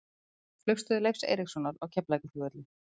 Flugstöð Leifs Eiríkssonar á Keflavíkurflugvelli.